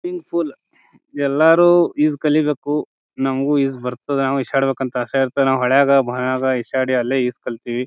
Swimming pool ಎಲ್ಲರು ಈಜ್ ಕಲಿಬೇಕು ನಮಗೂ ಈಜ್ ಬರ್ತಾದ್ದ ನವು ಈಜ್ ಆಡ್ಬೇಕ ಅಂತ್ ಆಸೆ ಇರ್ತಾದ್ದ ನಾವ್ ಹೊಳ್ಳಯಾಗ ಭಾವಿಯಾಗ ಈಜ್ ಆಡಿ ಅಲ್ಲೇ ಈಜ್ ಕಲ್ತಿವಿ .